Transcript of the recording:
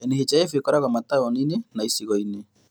NHIF ĩkoragwo mataũni-inĩ na icagi-inĩ